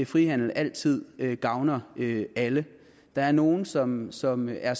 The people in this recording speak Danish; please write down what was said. frihandel altid gavner alle der er nogle som som er